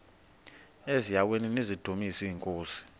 eziaweni nizidumis iinkosi